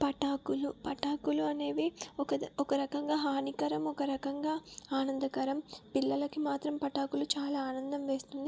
పటాకులు- పటాకులు అనేవి ఒక- ఒక రకంగా హానికరం ఒక రకంగా ఆనందకరం పిల్లలకు మాత్రం పటాకులు చాలా ఆనందం వేస్తుంది.